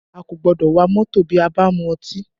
A kò gbọ́dọ̀ wa mọ́tò bí a bá mu ọtí